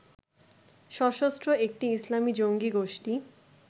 সশস্ত্র একটি ইসলামী জঙ্গী গোষ্ঠি